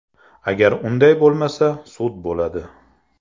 Agar unday bo‘lmasa, sud bo‘ladi.